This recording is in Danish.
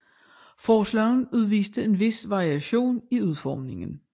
Forslagene udviste en vis variation i udformningen